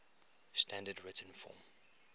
standard written form